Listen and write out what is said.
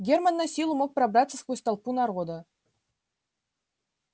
германн насилу мог пробраться сквозь толпу народа